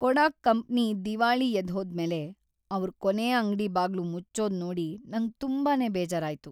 ಕೊಡಾಕ್ ಕಂಪ್ನಿ ದಿವಾಳಿ ಎದ್ದ್‌ಹೋದ್ಮೇಲೆ ಅವ್ರ ಕೊನೇ ಅಂಗ್ಡಿ ಬಾಗ್ಲು ಮುಚ್ಚೋದ್‌ ನೋಡಿ ನಂಗ್‌ ತುಂಬಾನೇ ಬೇಜಾರಾಯ್ತು.